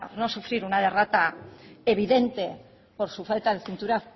no sufrir una derrota evidente por su falta de cintura